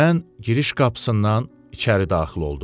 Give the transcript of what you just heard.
Mən giriş qapısından içəri daxil oldum.